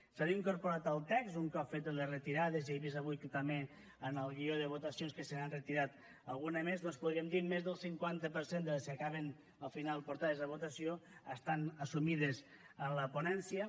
s’han incorporat al text un cop fetes les retirades i he vist que també en el guió de votacions se n’han retirat alguna més doncs més d’un cinquanta per cent de les que acaben al final portades a votació estan assumides en la ponència